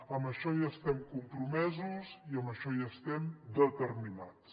en això hi estem compromesos i en això hi estem determinats